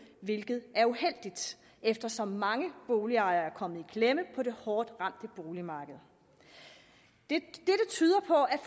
hvilket er uheldigt eftersom mange boligejere er kommet i klemme på det hårdt ramte boligmarked dette tyder på at